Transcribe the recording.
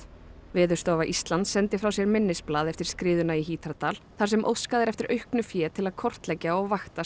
Veðurstofa Íslands sendi frá sér minnisblað eftir skriðuna í Hítardal þar sem óskað er eftir auknu fé til að kortleggja og vakta